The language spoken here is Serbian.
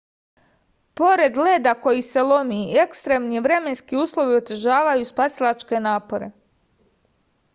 pored leda koji se lomi ekstremni vremenski uslovi otežavaju spasilačke napore